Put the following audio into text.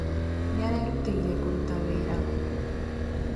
Nĩarerutĩire kũruta wĩra